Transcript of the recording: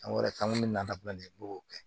Fɛn wɛrɛ kan ŋ'o nata fila nin b'o kɛ